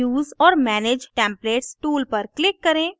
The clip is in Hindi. use or manage templates tool पर click करें